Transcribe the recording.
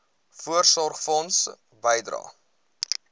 voorsorgfonds bydrae